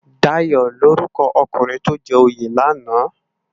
Dayo lórúkò òkúnrin tó jè óyé làná?